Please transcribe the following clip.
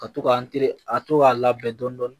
Ka to ka an teri ka to k'a labɛn dɔɔnin dɔɔnin